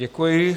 Děkuji.